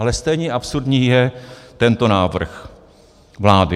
Ale stejně absurdní je tento návrh vlády.